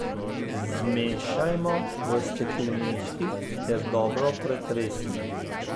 Zmešajmo v steklenički ter dobro pretresimo.